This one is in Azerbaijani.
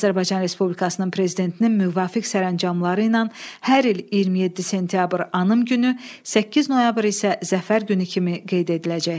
Azərbaycan Respublikasının Prezidentinin müvafiq sərəncamları ilə hər il 27 sentyabr Anım Günü, 8 noyabr isə Zəfər Günü kimi qeyd ediləcək.